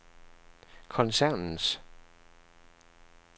koncernens